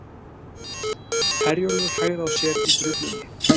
Herjólfur hægði á sér í drullunni